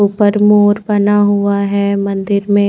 ऊपर मोर बना हुआ है मंदिर में--